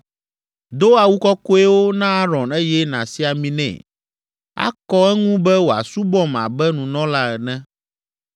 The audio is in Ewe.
Do awu kɔkɔewo na Aron eye nàsi ami nɛ, akɔ eŋu be wòasubɔm abe nunɔla ene.